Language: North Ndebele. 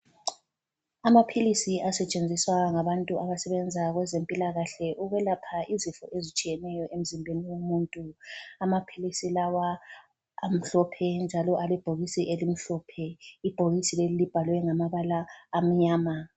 Amaphilisi asetshenziswa ngabantu abasebenza kwezempilakahle ukwelapha izifo ezitshiyeneyo emzimbeni womuntu. Amaphilisi lawa amhlophe njalo alebhokisi elimhlophe, ibhokisi leli libhalwe ngamabala amanyama.